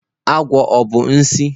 Agwọ ọ bụ nsi?